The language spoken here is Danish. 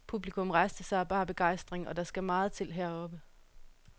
Publikum rejste sig af bar begejstring, og der skal meget til heroppe.